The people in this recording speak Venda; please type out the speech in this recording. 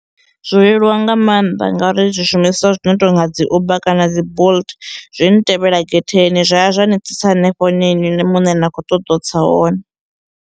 Zwo leluwa nga maanḓa ngauri zwishumiswa zwi no tonga dzi Uber kana dzi Bolt zwi ntevhela getheni zwa ya zwa ni tsitsa hanefho hune inwi muṋe na khou ṱoḓa u tsa hone.